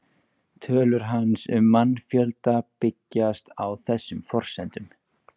Tölur hans um mannfjölda byggjast á þessum forsendum.